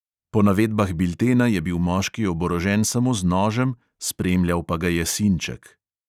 Po navedbah biltena je bil moški oborožen samo z nožem, spremljal pa ga je sinček.